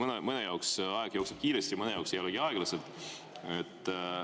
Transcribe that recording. Eks mõne jaoks aeg jookseb kiiresti, mõne jaoks see lähegi aeglaselt.